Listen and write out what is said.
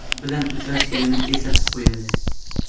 bilan uchrashganini eslatib qo‘yadi.